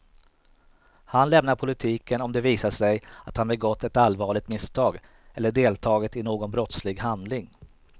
Han lämnar politiken om det visar sig att han begått ett allvarligt misstag eller deltagit i någon brottslig handling.